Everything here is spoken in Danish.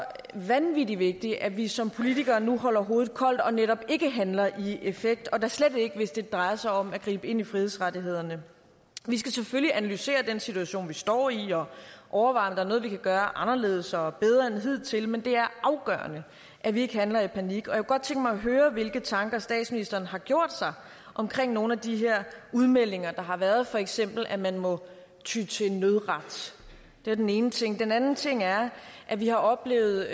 vanvittig vigtigt at vi som politikere nu holder hovedet koldt og netop ikke handler i affekt og da slet ikke hvis det drejer sig om at gribe ind i frihedsrettighederne vi skal selvfølgelig analysere den situation vi står i og overveje er noget vi kan gøre anderledes og og bedre end hidtil men det er afgørende at vi ikke handler i panik og jeg kunne godt tænke mig at høre hvilke tanker statsministeren har gjort sig om nogle af de her udmeldinger der har været for eksempel at man må ty til nødret det er den ene ting den anden ting er at vi har oplevet